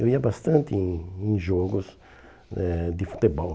Eu ia bastante em em jogos eh de futebol.